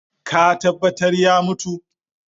Ka tambatar ya mutu?